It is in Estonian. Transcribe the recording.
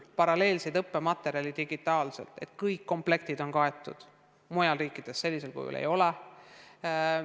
Paralleelseid õppematerjale, seda, et kõik õppekomplektid on olemas nii digitaalselt kui tavalisel kujul, mujal riikides ei ole.